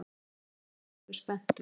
Þú hefur náttúrlega verið spenntur.